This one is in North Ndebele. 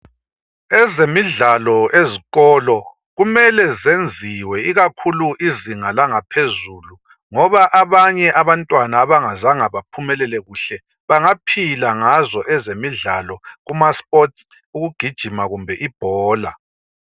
Ezemidlalo ezikolo kumele zenziwe ikakhulu izinga langaphezulu ngoba abanye abantwana abangazanga baphumelele kuhle, bangaphila ngazo ezemidlalo kumasports, ukugijima kumbe ibhola.